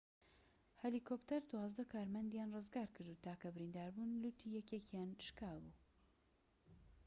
هەلیکۆپتەر دوازدە کارمەندیان ڕزگارکرد و تاکە بریندار بوون لوتی یەکێکیان شكابوو